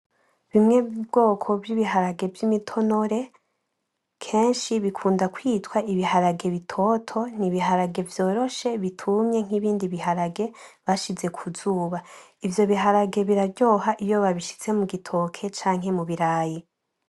Bimwe mu bwoko vy’ibiharage vy’imitinore, kenshi bikunda kwitwa ibiharage bitoto. Ni ibiharage vyoroshe bitumye nk’ibindi biharage bashize ku zuba. Ivyo biharage biraryoha iyo babishize mu gitoke canke mubirayi.